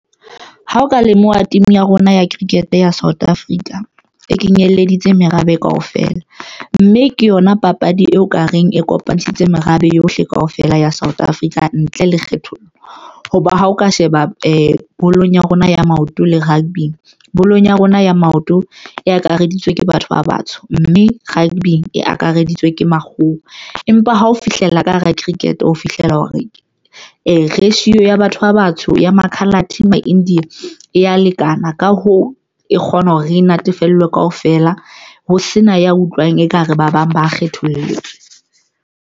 Ha o ka lemoha, team ya rona ya cricket ya South Africa e kenyeleditse merabe kaofela, mme ke yona papadi eo ka reng e kopantshitse merabe yohle kaofela ya South Africa ntle lekgethollo hoba ha o ka sheba bolong ya rona ya maoto le rugby, bolong ya rona ya maoto e akaraditswe ke batho ba batsho mme rugby e akareditswe ke makgowa, empa ha ho fihlella ka hara cricket o fihlela hore e ratio ya batho ba batsho ya ma-Coloured ma-India e ya lekana, ka hoo, e kgona hore re natefelwe kaofela ho sena ya utlwang ekare ba bang ba kgethollwa.